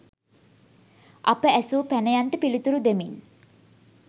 අප ඇසූ පැනයන්ට පිළිතුරු දෙමින්